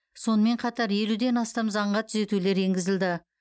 сонымен қатар елуден астам заңға түзетулер енгізілді